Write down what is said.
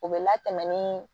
O bɛ latɛmɛ ni